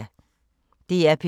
DR P3